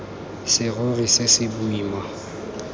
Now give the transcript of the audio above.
serori se se boima se